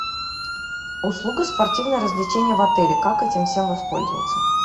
услуга спортивные развлечения в отеле как этим всем воспользоваться